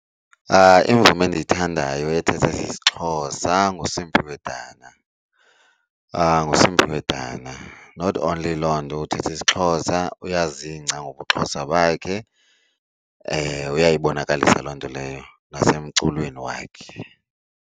Imvumi endiyithandayo ethetha isiXhosa nguSimphiwe Dana, nguSimphiwe Dana. Not only loo nto uthetha isiXhosa, uyazingca ngobuXhosa bakhe, uyayibonakalisa loo nto leyo nasemculweni wakhe.